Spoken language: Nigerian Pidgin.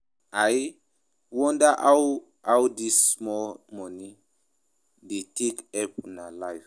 I wonder how how dis small money dey take help una life